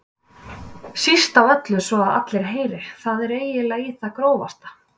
Síst af öllu svo að allir heyri, það er eiginlega í það grófasta.